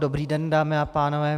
Dobrý den, dámy a pánové.